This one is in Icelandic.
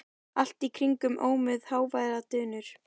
Allt í kring ómuðu háværar drunur.